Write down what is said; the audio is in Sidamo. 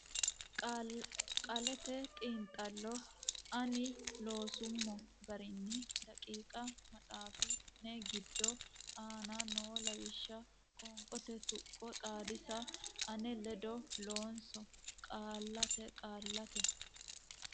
Qaallate Xiinxallo ani loosummo garinni daqiiqa maxaafi ne giddo aana noo lawishsha Qoonqote tuqqo xaadisa ane ledo loonso Qaallate Qaallate.